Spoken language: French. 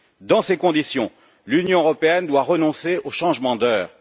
Dans ces conditions, l'Union européenne doit renoncer au changement d'heure.